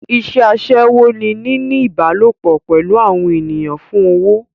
Iṣẹ́ aṣẹ́wó ni níní ìbálòpò pẹ̀lú àwọn ènìyàn fún owó.